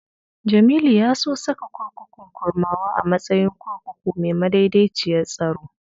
Jamilu ya so saka kurkukun Kurmawa a matsayin kurkuku mai madaidaiciyar tsaro.